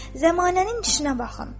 Zamanənin işinə baxın.